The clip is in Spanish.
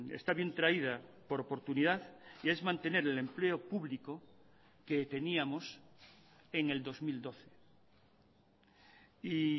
está bien traída por oportunidad y es mantener el empleo público que teníamos en el dos mil doce y